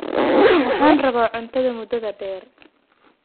waxaan rabaaCuntada muddada dheer